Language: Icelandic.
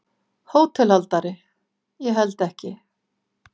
HÓTELHALDARI: Ég held ekki.